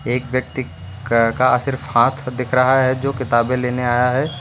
एक व्यक्ति क का सिर्फ हाथ दिख रहा है जो किताबें लेने आया है।